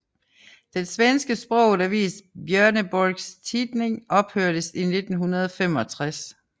Den svensk sproget avis Björneborgs Tidning ophørtes i 1965